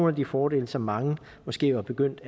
af de fordele som mange måske var begyndt